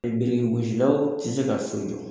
Biriki gosilaw tɛ se ka so jɔ.